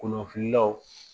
Kolonfililaw